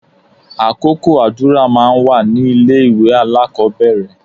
Àkókò àdúrà máa ń wà ní ilé ìwé alákọ̀ọ́bẹ̀rẹ̀